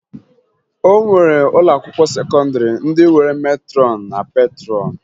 O nwere ụlọakwụkwọ sekọndịrị ndị nwere metrọn na petrọn